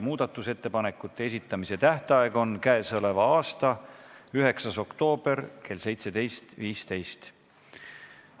Muudatusettepanekute esitamise tähtaeg on k.a 9. oktoober kell 17.15.